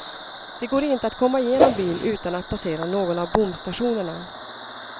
Det går inte att komma igenom byn utan att passera någon av bomstationerna.